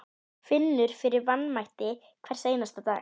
Finnur fyrir vanmætti hvern einasta dag.